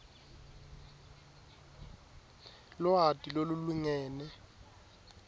lwati lolulingene